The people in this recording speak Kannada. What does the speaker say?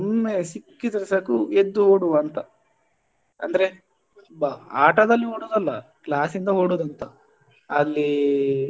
ಒಮ್ಮೆ ಸಿಕ್ಕಿದ್ರೆ ಸಾಕು ಎದ್ದು ಓಡುವ ಅಂತ ಅಂದ್ರೆ ಬ~ ಆಟದಲ್ಲಿ ಓಡುದು ಅಲ್ಲ class ಯಿಂದ ಓಡುದು ಅಂತ ಅಲ್ಲಿ.